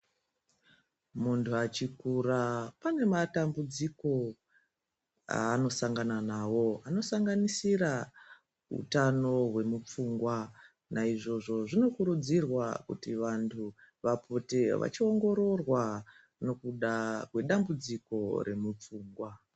Munhu achikura pane matambudziko aanosangana nawo anosanganisira utano hwemupfungwa. Naizvozvo vanhu vanokurudzirwa kuti vapote vachiongororwa ngekuda kwedambudziko remupfungwa.